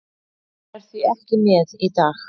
Hann er því ekki með í dag.